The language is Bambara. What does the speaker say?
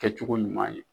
Kɛcogo ɲuman ye